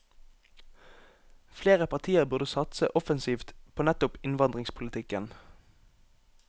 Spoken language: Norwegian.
Flere partier burde satse offensivt på nettopp innvandringspolitikken.